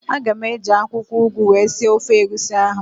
Aga m eji akwụkwọụgụ wee sie ofe egusi ahụ